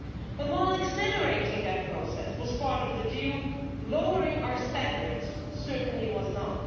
But while accelerating that process was part of the deal, lowering our standards certainly was not.